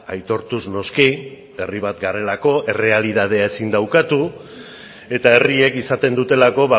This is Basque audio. aitortuz noski herri bat garelako errealitatea ezin da ukatu eta herriek izaten dutelako